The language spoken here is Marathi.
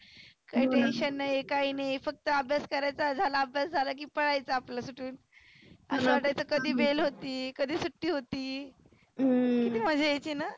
काही tension नाही काही नाही. फक्त अभ्यास करायचा झाला अभ्यास झाला की पळायच आपलं सुटुन. असंं वाटायचं की bell होती कधी सुट्टी होती. हम्म किती मजा यायची ना.